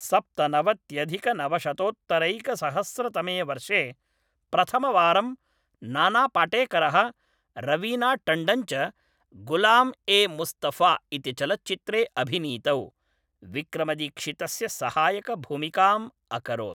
सप्तनवत्यधिकनवशतोत्तरैकसहस्रतमे वर्षे प्रथमवारं नाना पाटेकरः रवीना टण्डन् च गुलाम ए मुस्तफा इति चलच्चित्रे अभिनीतौ , विक्रमदीक्षितस्य सहायकभूमिकाम् अकरोत् ।